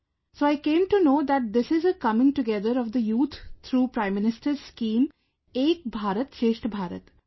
So I came to know that this is a coming together of the youth through Prime Minister's scheme 'Ek Bharat Shreshtha Bharat'